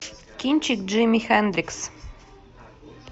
кинчик джимми хендрикс